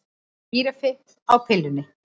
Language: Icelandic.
Gíraffi á pillunni